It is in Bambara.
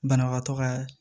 Banabagatɔ ka